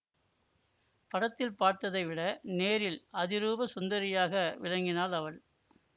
படத்தில் பார்த்ததை விட நேரில் அதிரூப சுந்தரியாக விளங்கினாள் அவள்